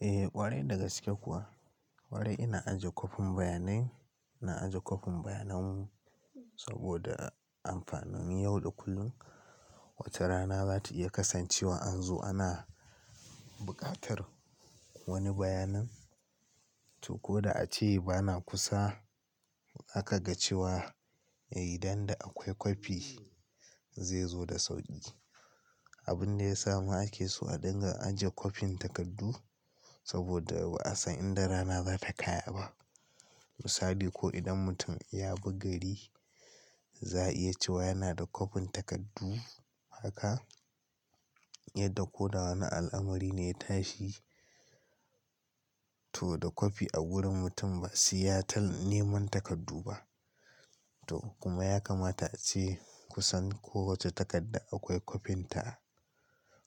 Eh ƙwarai da gaske kuwa. Ƙwarai ina ajiye kwafin bayanai, ina ajiye kwafin bayanan mu saboda amfanin yau da kullum. Wata rana zata iya kasancewa an zo ana buƙatar wani bayanan to ko da ace bana kusa aka ga cewa idan da akwai kwafi zai zo da sauƙi. Abun da ya samu ake so a dinga ajiye kwafin takardu saboda ba'a san idan rana zata kayaba. Misali ko idan mutum ya baggari za'a iya cewa yana da kwafin takardu haka yadda ko da wane al'amari ne ya tashi to da kwafi a gurin mutum ba su iya tal neman takardu ba. To kuma ya kamata ace kusan kowacce takarda akwai kwafin ta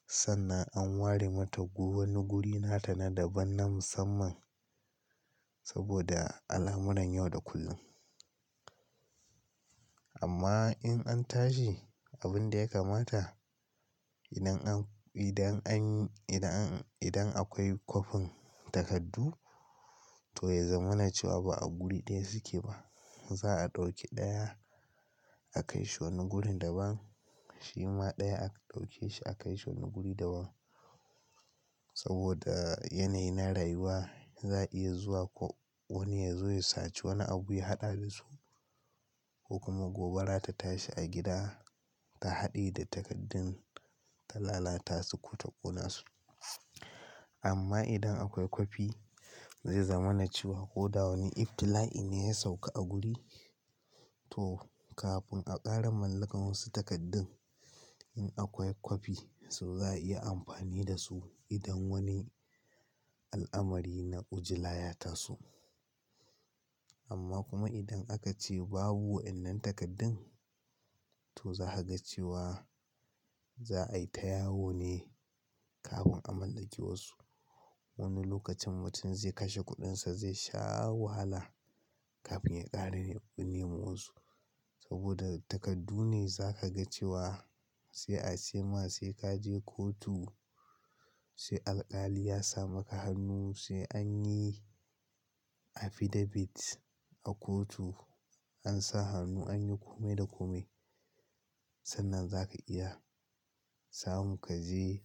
sannan an ware mata wani guri nata na daban nan musamman saboda alamuran yau da kullum. Amma in an tashi abin da ya kamata idan an, idan an, idan akwai kwafin takardu to ya zama na cewa ba a guri ɗaya suke ba. Za'a ɗauki ɗaya akai shi wani guri daban, shima ɗaya aka ɗauke shi aka kai shi wani guri daban. Saboda yanayi na rayuwa za'i iya zuwa ko wani ya zo ya sace wani abu ya haɗa da su ko kuma gobara ta tashi a gida ta haɗe da takardun ta lalata su ko ta ƙona su. Amma idan akwai kwafi zai zama na cewa ko da wani ibtila'a ne ya sauka a guri to kafin a ƙara mallakar wasu takardun in akwai kwafi su za'a iya amfani da su idan wani al'amari na ƙujila ya taso. Amma kuma idan aka ce babu wannan takardun to za ka ga cewa za a yi ta yawo ne kafin a mallaki wasu. Wani lokacin mutum zai kashe kuɗinsa, zai sha wahala kafin ya ƙara neman wasu. Saboda takardu ne za ka ga cewa sai a ce ma sai ka je kotu, sai alƙali ya sa maka hannu, sai an yi affidavit a kotu an sa hannu an yi kome da kome. Sannan za ka iya samun ka je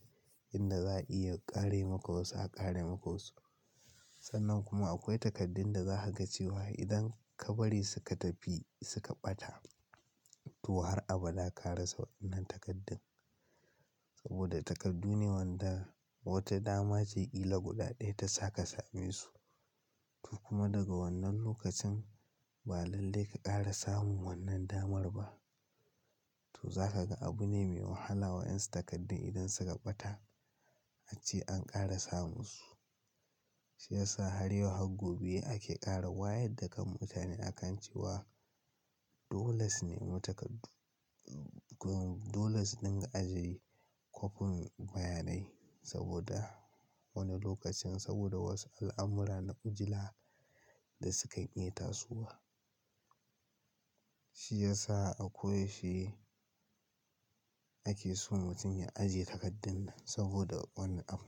inda za'a iya ƙare maka wasu a ƙare maka wasu. Sannan kuma akwai takardun da za ka ga cewa idan ka bari suka tafi suka ɓata to har abada ka rasa wannan takardun. Saboda takardu ne wadda wata dama ce ƙila guda ɗaya ta sa ka samu su to kuma daga wannan lokacin ba lallai ka ƙara samun wannan damar ba. To za ka ga abu ne mai wahala wa yan takardun idan suka ɓata ace an ƙara samun su. Shi ya sa har yau har gobe ake ƙara wayar da kan mutane akan cewa dole su nemo takardu. Dole su dinga ajie kwafin bayanai saboda wani lokacin saboda wasu al'amurra na ƙujila da sukan iya tasowa. Shi ya sa akwai shi ake so mutum ya ajiye takardun saboda wani abu.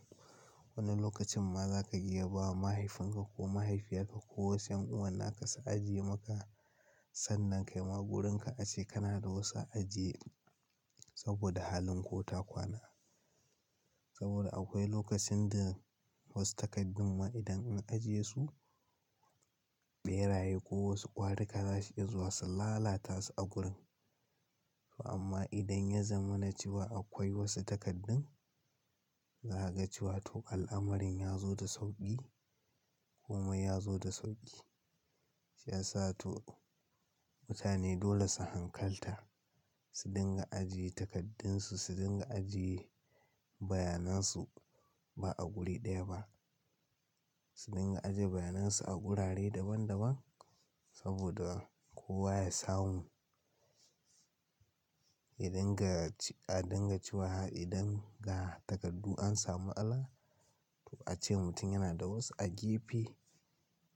Wani lokacin ma za ka iya bawa mahaifinka ko mahaifiyar ka ko wasu ƴan'uwan ka su ajiye maka. Sannan kai ma wurin ka ace kana da wasu a ajiye saboda halin ko ta kwana. Saboda akwai lokacin da wasu takardu ma idan an ajiye su ɓeraye ko wasu ƙwari ka za su iya zuwa su lalata su a gurin. To amma idan ya zama na cewa akwai wasu takardun za ka ga cewa to al'amarin ya zo da sauƙi kuma ya zo da sauƙi. Shi ya sa to mutane dole su hankalta, su dinga ajiye takardun su, su dinga ajiye bayanan su ba a guri ɗaya ba. Su dinga ajiye bayanan su a wurare daban daban saboda kowa ya samu. Idan ga, a dinga cewa idan ga takardu an samu ala to ace mutum yana da wasu a gefe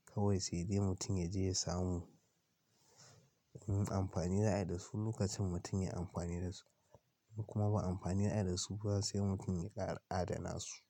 kawai sai dai mutum ya je ya samu. In amfani za a yi da su lokacin mutum ya yi amfani da su kuma ba amfani za a yi da su ba sai mutum ya ƙara adana su.